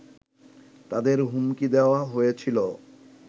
তাদের হুমকি দেয়া হয়েছিল